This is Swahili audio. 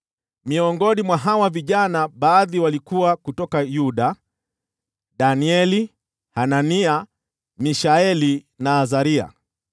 Baadhi ya hawa vijana walitoka Yuda: nao ni Danieli, Hanania, Mishaeli na Azaria.